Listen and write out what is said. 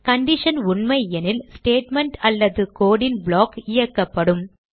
condition உண்மையெனில் statement அல்லது code ன் ப்ளாக் இயக்கப்படும்